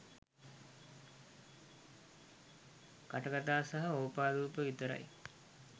කටකතා සහ ඕපාදුප විතරයි.